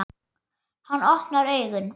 Hann opnar augun.